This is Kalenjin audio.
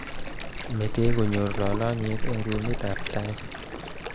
metee kenyoru lolonyet eng rumitab tai